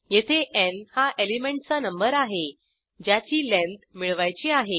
येथे न् हा एलिमेंटचा नंबर आहे ज्याची लेंथ मिळवायची आहे